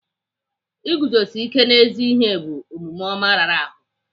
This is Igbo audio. Iguzosi ike n'ezi ihe bụ omume ọma rara ahụ.